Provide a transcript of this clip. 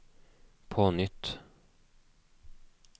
på nytt